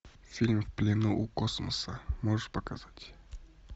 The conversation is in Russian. фильм в плену у космоса можешь показать